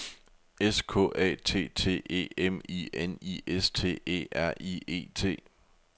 S K A T T E M I N I S T E R I E T